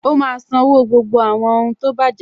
Ó má a sanwó gbogbo àwọn ohun tó bàjẹ́